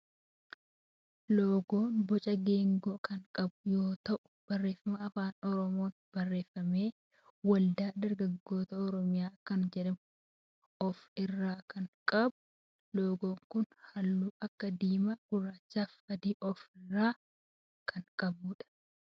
Loogoon boca geengoo kan qabu yoo ta'u barreeffama afaan Oromoon barreeffame waldaa dargaggoota oromiyaa kan jedhu of irraa kan qabudha. Loogoon kun halluu akka diimaa, gurraacha fi adii of irraa kan qabudha.